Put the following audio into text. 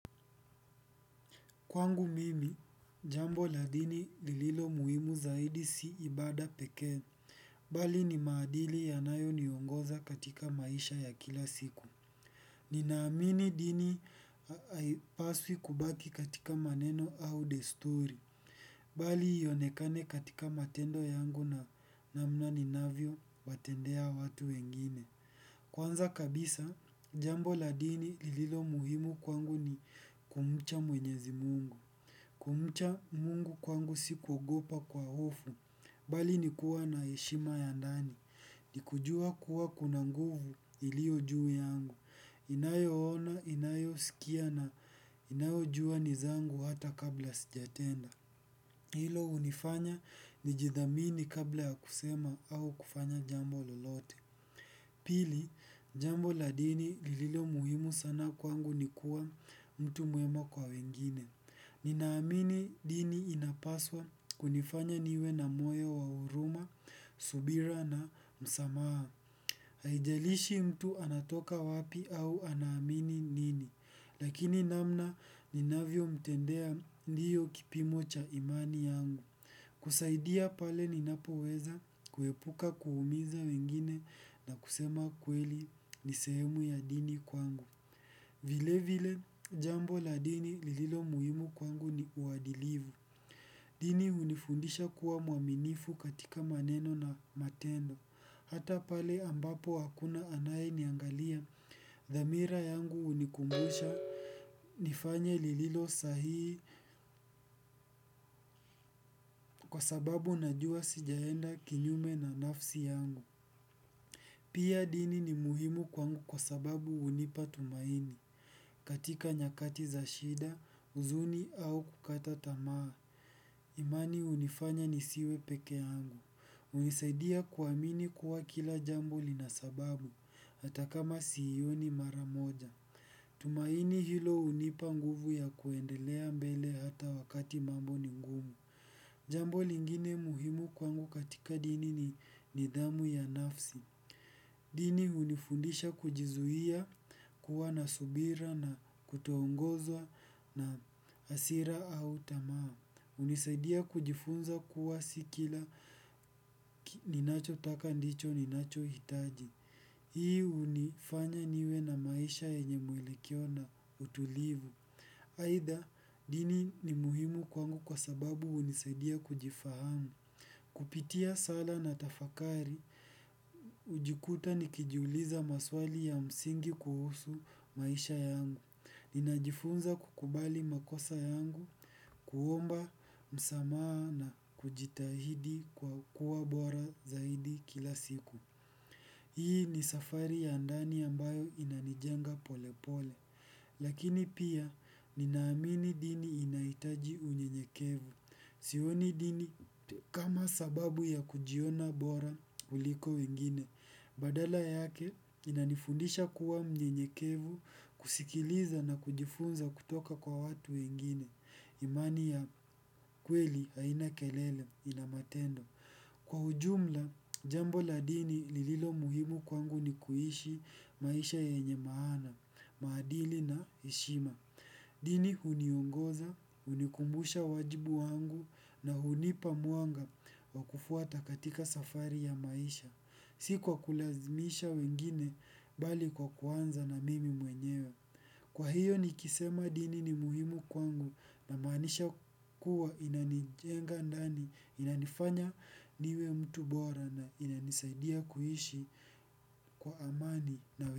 Kwangu mimi, jambo la dini lililo muhimu zaidi si ibaada pekee, bali ni maadili yanayoniongoza katika maisha ya kila siku. Ninaamini dini haipaswi kubaki katika maneno au desturi, bali ionekane katika matendo yangu na namna ninavyowatendea watu wengine. Kwanza kabisa, jambo la dini lililo muhimu kwangu ni kumcha mwenyezi mungu. Kumcha mungu kwangu si kuogopa kwa hofu, bali ni kuwa na heshima ya ndani, ni kujua kuwa kuna nguvu iliyo juu yangu, inayoona, inayosikia na inayojua ni zangu hata kabla sijatenda. Hilo hunifanya nijidhamini kabla ya kusema au kufanya jambo lolote. Pili, jambo la dini lililo muhimu sana kwangu ni kuwa mtu mwema kwa wengine. Ninaamini dini inapaswa kunifanya niwe na moyo wa huruma, subira na msamaha. Haijalishi mtu anatoka wapi au anaamini nini. Lakini namna ninavyomtendea ndiyo kipimo cha imani yangu. Kusaidia pale ninapoweza kuepuka kuumiza wengine na kusema kweli ni sehemu ya dini kwangu. Vile vile jambo la dini lililo muhimu kwangu ni uadilivu. Dini hunifundisha kuwa mwaminifu katika maneno na matendo. Hata pale ambapo hakuna anayeniangalia. Dhamira yangu hunikumbusha nifanye lililo sahii. Kwa sababu najua sijaenda kinyume na nafsi yangu. Pia dini ni muhimu kwangu kwa sababu hunipa tumaini katika nyakati za shida, huzuni au kukata tamaa imani hunifanya nisiwe pekee yangu. Hunisaidia kuamini kuwa kila jambo lina sababu hata kama siioni mara moja. Tumaini hilo hunipa nguvu ya kuendelea mbele hata wakati mambo ni ngumu. Jambo lingine muhimu kwangu katika dini ni nidhamu ya nafsi. Dini hunifundisha kujizuia kuwa na subira na kutoongozwa na hasira au tamaa. Hunisaidia kujifunza kuwa si kila ninachotaka ndicho ninachohitaji hii hunifanya niwe na maisha yenye mwelekeo na utulivu. Aidha, dini ni muhimu kwangu kwa sababu hunisaidia kujifahamu. Kupitia sala na tafakari hujikuta nikijiuliza maswali ya msingi kuhusu maisha yangu. Ninajifunza kukubali makosa yangu, kuomba msamaha na kujitahidi kwa kuwa bora zaidi kila siku. Hii ni safari ya ndani ambayo inanijenga polepole. Lakini pia ninaamini dini inahitaji unyenyekevu. Sioni dini kama sababu ya kujiona bora kuliko wengine. Badala yake inanifundisha kuwa mnyenyekevu kusikiliza na kujifunza kutoka kwa watu wengine. Imani ya kweli haina kelele ina matendo. Kwa ujumla jambo la dini lililo muhimu kwangu ni kuishi maisha yenye maana, maadili na heshima. Dini huniongoza, hunikumbusha wajibu wangu na hunipa mwanga wa kufuata katika safari ya maisha. Si kwa kulazimisha wengine bali kwa kuanza na mimi mwenyewe. Kwa hiyo nikisema dini ni muhimu kwangu namaanisha kuwa inanijenga ndani, inanifanya niwe mtu bora na inanisaidia kuishi kwa amani.